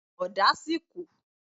Ọ̀dà sì kù.